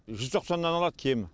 жүз тоқсаннан алады кемі